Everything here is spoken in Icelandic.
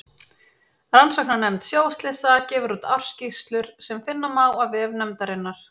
Rannsóknarnefnd sjóslysa gefur úr ársskýrslur sem finna má á vef nefndarinnar.